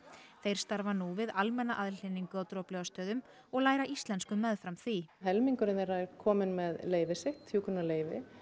þeir starfa nú við almenna aðhlynningu á Droplaugarstöðum og læra íslensku meðfram því helmingurinn þeirra er komin með leyfið sitt hjúkrunarleyfi